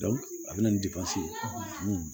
a bɛ na ni ye